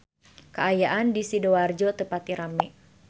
Kaayaan di Sidoarjo teu pati rame